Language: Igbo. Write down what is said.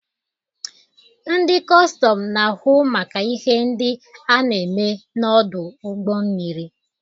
Ndị kọstọm na-ahụ maka ihe ndị a na-eme n'ọdụ ụgbọ mmiri